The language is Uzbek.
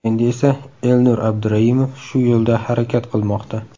Endi esa Elnur Abduraimov shu yo‘lda harakat qilmoqda.